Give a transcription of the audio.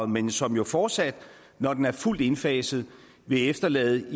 men som jo fortsat når den er fuldt indfaset vil efterlade